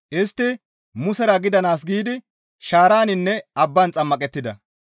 Istti Musera gidanaas giidi shaaraninne abban xammaqettida.